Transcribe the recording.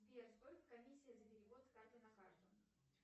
сбер сколько комиссия за перевод с карты на карту